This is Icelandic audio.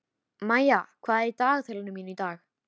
Maía, hvað er á dagatalinu mínu í dag?